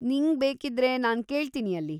ನಿಂಗ್ಬೇಕಿದ್ರೆ ನಾನ್‌ ಕೇಳ್ತೀನಿ ಅಲ್ಲಿ.